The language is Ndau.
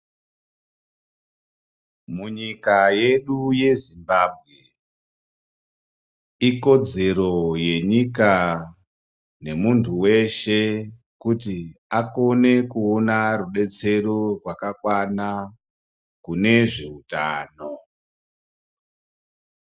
Munyika yedu yeZimbambwe ikodzero yenyika nemuntu weshe kuti akone kuona rudetsero rwakakwana kune zveutano.